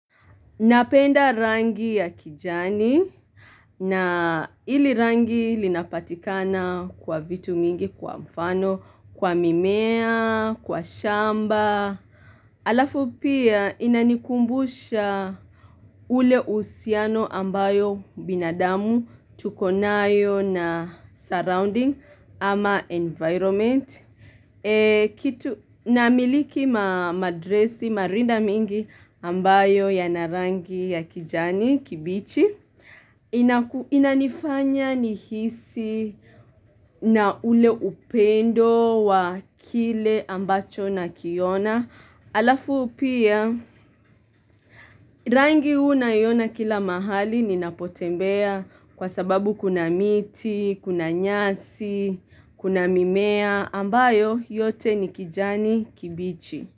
Napenda rangi ya kijani na ili rangi linapatikana kwa vitu mingi kwa mfano, kwa mimea, kwa shamba. Alafu pia inanikumbusha ule uhusiano ambayo binadamu, tukonayo na surrounding ama environment. Kitu namiliki madresi marinda mingi ambayo yana rangi ya kijani kibichi Inanifanya nihisi na ule upendo wa kile ambacho na kiona Alafu pia rangi unaiona kila mahali ninapotembea kwa sababu kuna miti, kuna nyasi, kuna mimea na ambayo yote ni kijani kibichi.